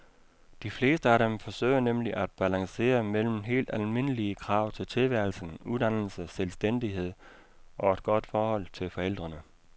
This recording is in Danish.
De fleste af dem forsøger nemlig at balancere mellem helt almindelige krav til tilværelsen, uddannelse, selvstændighed, og et godt forhold til forældrene.